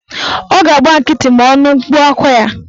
Ọ ga-agba nkịtị ma ọ nụ mkpu akwa ya